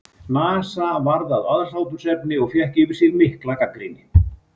NASA varð að aðhlátursefni og fékk yfir sig mikla gagnrýni.